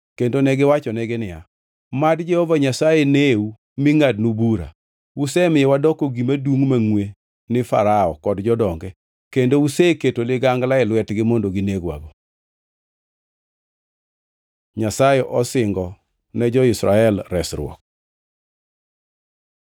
kendo negiwachonegi niya, “Mad Jehova Nyasaye neu mi ngʼadnu bura! Usemiyo wadoko gima dungʼ mangʼwe ni Farao kod jodonge kendo useketo ligangla e lwetgi mondo ginegwago.” Nyasaye osingo ne jo-Israel resruok